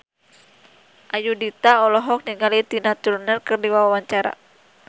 Ayudhita olohok ningali Tina Turner keur diwawancara